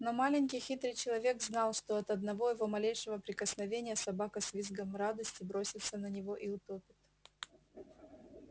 но маленький хитрый человек знал что от одного его малейшего прикосновения собака с визгом радости бросится на него и утопит